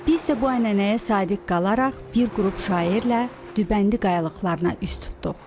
Biz isə bu ənənəyə sadiq qalaraq bir qrup şairlə Dübəndi qayalıqlarına üz tutduq.